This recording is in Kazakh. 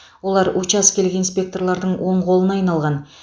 олар учаскелік инспекторлардың оң қолына айналған